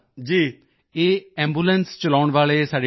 ਇਹ ਐਂਬੂਲੈਂਸ ਚਲਾਉਣ ਵਾਲੇ ਸਾਡੇ ਡ੍ਰਾਈਵਰ ਵੀ